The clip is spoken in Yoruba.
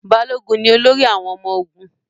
Balógun ni olórí àwọn ọmọ ogun.